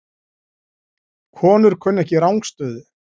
Konur kunna ekki rangstöðu